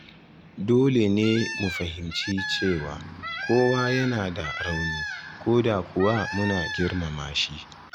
Dole ne mu fahimci cewa kowa yana da rauni, ko da kuwa muna girmama shi.